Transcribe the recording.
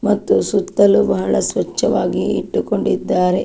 ಮತ್ತು ಸುತ್ತಲೂ ಬಹಳ ಸ್ವಚ್ಛವಾಗಿ ಇಟ್ಟುಕೊಂಡಿದ್ದಾರೆ.